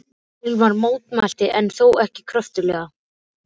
Hilmar mótmælti en þó ekki kröftuglega.